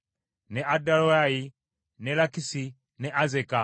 ne Adorayimu, ne Lakisi, ne Azeka,